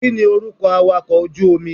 Kíni orúkọ awàkọ̀ ojú omi?